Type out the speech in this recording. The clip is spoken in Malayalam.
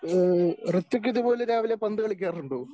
ഏ ഋഥ്വിക് ഇതുപോലെ രാവിലെ പന്ത് കളിക്കാറുണ്ടോ?